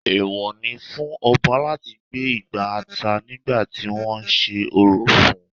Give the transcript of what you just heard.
Èwọ ni fún Ọba láti gbé igbá ata nígbà tí wọ́n sé orò fún-un